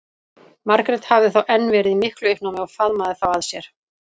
Margrét hafði þá enn verið í miklu uppnámi og faðmað þá að sér.